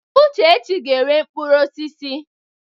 Uchechi ga-ere mkpụrụ osisi.